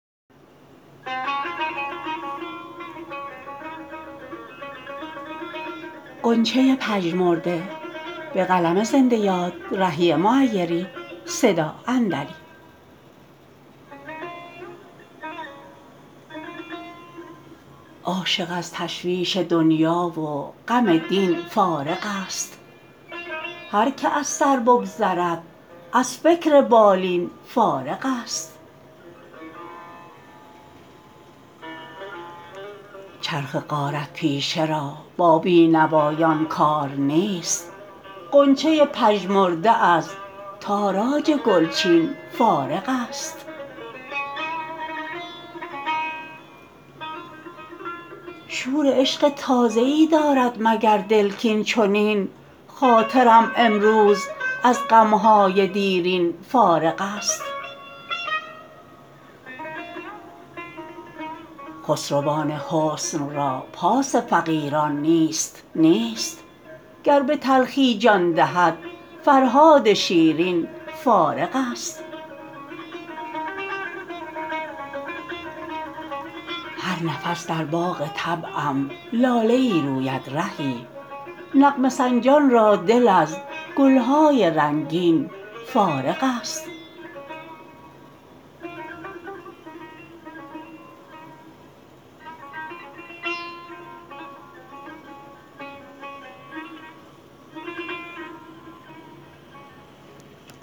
عاشق از تشویش دنیا و غم دین فارغ است هرکه از سر بگذرد از فکر بالین فارغ است چرخ غارت پیشه را با بی نوایان کار نیست غنچه پژمرده از تاراج گلچین فارغ است شور عشق تازه ای دارد مگر دل کاین چنین خاطرم امروز از غم های دیرین فارغ است خسروان حسن را پاس فقیران نیست نیست گر به تلخی جان دهد فرهاد شیرین فارغ است هر نفس در باغ طبعم لاله ای روید رهی نغمه سنجان را دل از گل های رنگین فارغ است